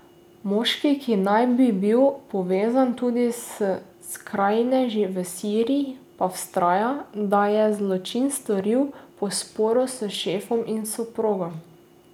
Moški, ki naj bi bil povezan tudi s skrajneži v Siriji, pa vztraja, da je zločin storil po sporu s šefom in soprogo.